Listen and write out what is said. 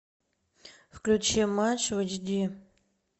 включи матч в эйч ди